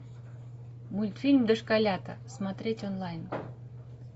мультфильм дошколята смотреть онлайн